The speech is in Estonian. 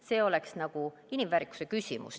See oleks nagu inimväärikuse küsimus.